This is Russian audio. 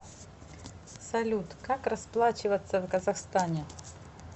салют как расплачиваться в казахстане